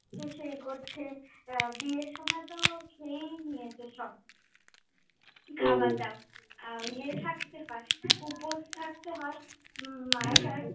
সেই করছে, বিয়ের সময়ে তো খেয়েই নিয়েছে সব, খাওয়া দাওয়া। ওই ইয়ে থাকতে হয়, উপোষ থাকতে হয়।